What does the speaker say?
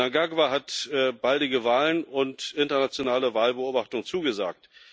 Mnangagwa hat baldige Wahlen und internationale Wahlbeobachtung zugesagt.